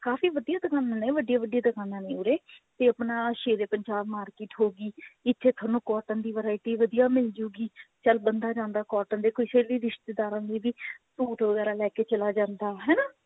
ਕਾਫੀ ਵਧੀਆ ਦੁਕਾਨਾ ਨੇ ਕਾਫੀ ਵੱਡਿਆ ਵੱਡਿਆ ਦੁਕਾਨਾ ਨੇ ਉਰੇ ਤੇ ਆਪਣਾ ਸ਼ੇਰੇ ਪੰਜਾਬ market ਹੋਗੀ ਇੱਥੇ ਤੁਹਾਨੂੰ cotton ਦੀ variety ਵਧੀਆ ਮਿਲ ਜੁਗੀ ਚੱਲ ਬੰਦਾ ਜਾਂਦਾ cotton ਦੇ ਕਿਸੇ ਵੀ ਰਿਸ਼ਤੇਦਾਰਾ ਦੇ ਵੀ suit ਵਗੇਰਾ ਲੇਕੇ ਚਲਾ ਜਾਂਦਾ